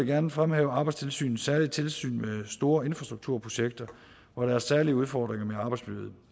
gerne fremhæve arbejdstilsynets særlige tilsyn med store infrastrukturprojekter hvor der er særlige udfordringer med arbejdsmiljøet